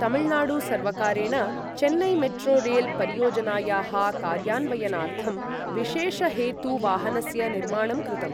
तमिल्नाडु सर्वकारेण, Chennai metro rail परियोजनायाः कार्यान्वयनार्थं, विशेष हेतु वाहनस्य निर्माणं कृतम्।